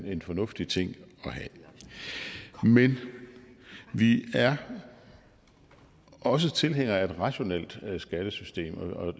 er en fornuftig ting at have men vi er også tilhængere af et rationelt skattesystem og